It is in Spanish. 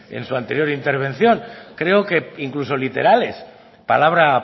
en su anterior intervención creo que incluso literales palabra